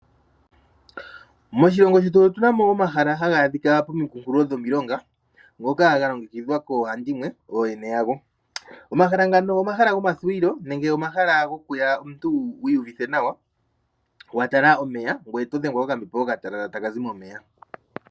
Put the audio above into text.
Moshilongo shetu otunamo omahala haga adhika pomikunkilo dhomilonga ngoka galongekidhwaa koohandimwe ooyene yago. Omahala ngano omahala gomathuwilo nenge omahala gokuya wiihuvithe nawa watala omeya ngwee otodhengwa kokambepo okatalala taka zi momeya.